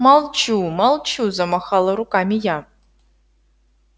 молчу молчу замахала руками я